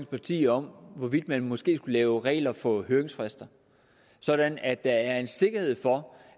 partier om hvorvidt man måske skulle lave regler for høringsfrister sådan at der er en sikkerhed for